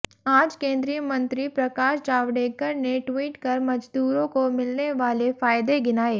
आज केंद्रीय मंत्री प्रकाश जावडेकर ने ट्वीट कर मजदूरों को मिलने वाले फायदे गिनाए